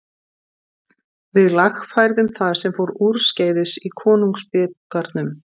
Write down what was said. Við lagfærðum það sem fór úrskeiðis í konungsbikarnum.